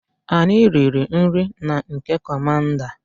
Anyi riri NRI na nke commander